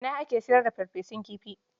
Ina ake sayar da farfesun kifi?